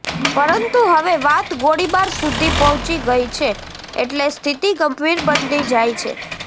પરંતુ હવે વાત ગોળીબાર સુધી પહોંચી ગઈ છે એટલે સ્થિતિ ગંભીર બનતી જાય છે